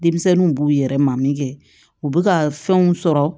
Denmisɛnninw b'u yɛrɛ ma min kɛ u bɛ ka fɛnw sɔrɔ